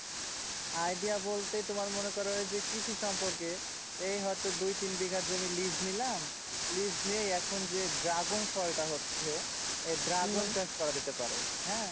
idea বলতে তোমার মনে করো যে কৃষি সম্পর্কে এই হয়তো দুই তিন বিঘা জমি lease নিলাম, lease নিয়ে এখন যে dragon ফলটা হচ্ছে তো dragon চাষ করা যেতে পারে